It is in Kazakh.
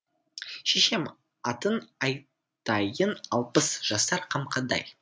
шешем атын айтайын алпыс жасар қамқадай